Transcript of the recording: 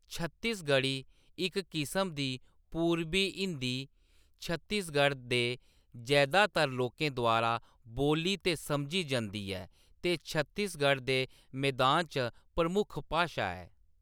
छत्तीसगढ़ी, इक किस्म दी पूरबी हिंदी, छत्तीसगढ़ दे जैदातर लोकें द्वारा बोल्ली ते समझी जंदी ऐ ते छत्तीसगढ़ दे मैदान च प्रमुख भाशा ऐ।